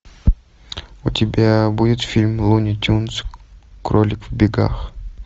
у тебя будет фильм луни тюнз кролик в бегах